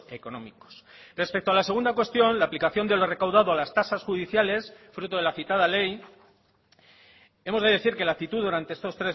económicos respecto a la segunda cuestión la aplicación de lo recaudado a las tasas judiciales fruto de la citada ley hemos de decir que la actitud durante estos